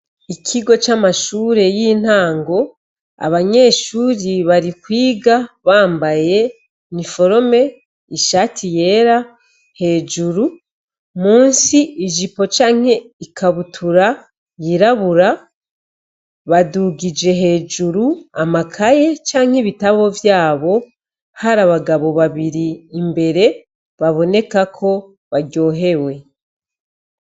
Ikigo c'amashure y'intango, abanyeshuri bari kwiga bambaye niforome, ishati yera hejuru, musi ijipo canke ikabutura yirabura, badugije hejuru amakaye canke ibitabo vyabo, hari abagabo babiri imbere baboneka ko baryohewe.